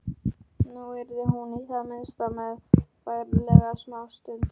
Nú yrði hún í það minnsta meðfærilegri smástund.